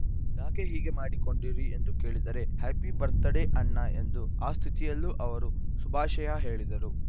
ಯಾಕೆ ಹೀಗೆ ಮಾಡಿಕೊಂಡಿರಿ ಎಂದು ಕೇಳಿದರೆ ಹ್ಯಾಪಿ ಬತ್‌ರ್‍ ಡೇ ಅಣ್ಣ ಎಂದು ಆ ಸ್ಥಿತಿಯಲ್ಲೂ ಅವರು ಶುಭಾಶಯ ಹೇಳಿದರು